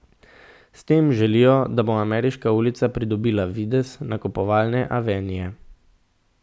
S tem želijo, da bo Ameriška ulica pridobila videz nakupovalne avenije.